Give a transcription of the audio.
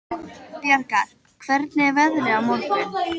Bjargar, hvernig er veðrið á morgun?